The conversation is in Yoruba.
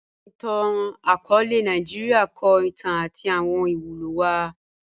Awọn ìtàn-akọọlẹ Nàìjíríà kọ ìtàn àti awọn ìwúlò wa